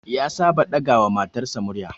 Ya saba ɗaga wa matarsa murya